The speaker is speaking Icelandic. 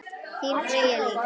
Þín Freyja Líf.